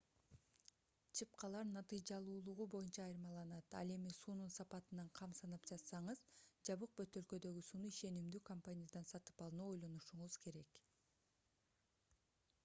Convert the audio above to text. чыпкалар натыйжалуулугу боюнча айырмаланат ал эми суунун сапатынан кам санап жатсаңыз жабык бөтөлкөдөгү сууну ишенимдүү компаниядан сатып алууну ойлонушуңуз керек